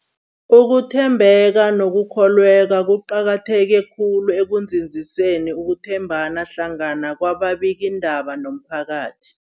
Ukuthembeka nokukholweka kuqakatheke khulu ekunzinziseni ukuthembana hlangana kwababikiindaba nomphakathi.